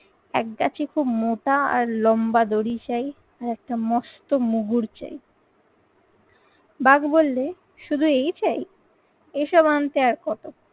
একগাছি খুব মোটা আর লম্বা দড়ির চাই। আর একটা মস্ত মুগুর চাই। বাঘ বললে শুধু এই চাই? এসব আনতে আর কতক্ষণ।